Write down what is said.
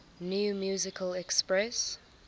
new musical express